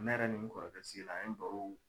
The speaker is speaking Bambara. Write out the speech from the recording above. Nɛ yɛrɛ ni n kɔrɔkɛ sigila an ye baro